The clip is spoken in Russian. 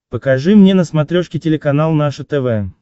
покажи мне на смотрешке телеканал наше тв